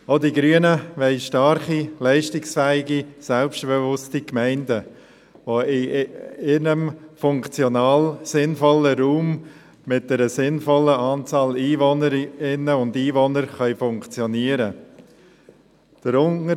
Auch die Grünen wollen starke, leistungsfähige und selbstbewusste Gemeinden, die in ihrem funktional sinnvollen Raum mit einer sinnvollen Anzahl von Einwohnerinnen und Einwohnern funktionieren können.